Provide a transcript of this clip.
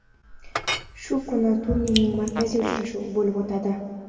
Shu kuni turning markaziy uchrashuvi bo‘lib o‘tadi.